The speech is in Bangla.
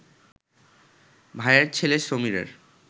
ভাইয়ের ছেলে সমীরের